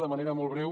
de manera molt breu